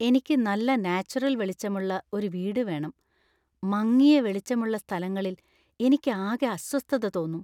എനിക്ക് നല്ല നാച്ചുറല്‍ വെളിച്ചമുള്ള ഒരു വീട് വേണം; മങ്ങിയ വെളിച്ചമുള്ള സ്ഥലങ്ങളിൽ എനിക്ക് ആകെ അസ്വസ്ഥത തോന്നും.